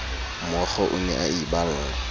mookgo o ne a iballa